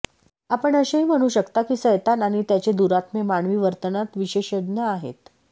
आपण असेही म्हणू शकता की सैतान आणि त्याचे दुरात्मे मानवी वर्तनात विशेषज्ञ आहेत